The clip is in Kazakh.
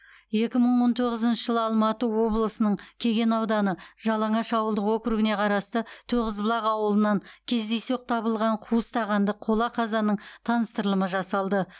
екі мың он тоғызыншы жылы алматы облысының кеген ауданы жалаңаш ауылдық округіне қарасты тоғызбұлақ ауылынан кездейсоқ табылған қуыс тағанды қола қазанның таныстырылымы жасалды